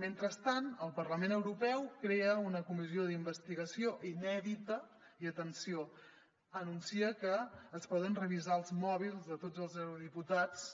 mentrestant el parlament europeu crea una comissió d’investigació inèdita i atenció anuncia que es poden revisar els mòbils de tots els eurodiputats